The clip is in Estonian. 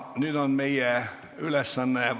Nüüd on meie ülesanne vaadata läbi muudatusettepanekud.